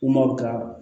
U ma